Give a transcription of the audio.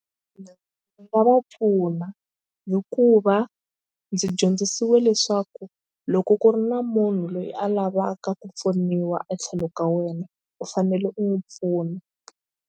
Ndzi nga va pfuna hikuva ndzi dyondzisiwe leswaku loko ku ri na munhu loyi a lavaka ku pfuniwa etlhelo ka wena u fanele u n'wi pfuna.